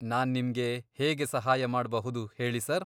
ನಾನ್ ನಿಮ್ಗೆ ಹೇಗೆ ಸಹಾಯ ಮಾಡ್ಬಹುದು ಹೇಳಿ ಸರ್?